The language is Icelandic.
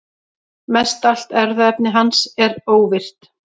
Mestallt erfðaefni hans er óvirkt.